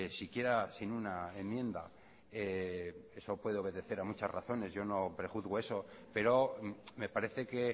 siquiera sin una enmienda eso puede obedecer a muchas razones yo no prejuzgo eso pero me parece que